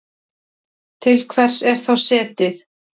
Til hvers er þá setið?